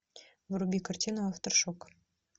вруби картину афтершок